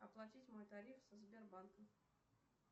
оплатить мой тариф со сбербанка